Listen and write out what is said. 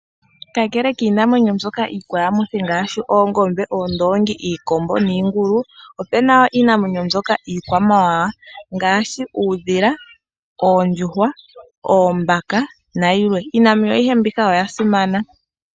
Kakele kiinamwenyo mbyoka iikwayamithi ngaashi oongombe, oondongi, iikombo niingulu, opuna wo iinamwenyo mbyoka yiikwamawawa ngaashi, uudhila, oondjuhwa, oombaka nayilwe. Iinamwenyo ayihe mbika oya simana.